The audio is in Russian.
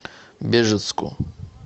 бежецку